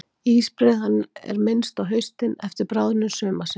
Ísbreiðan er minnst á haustin eftir bráðnun sumarsins.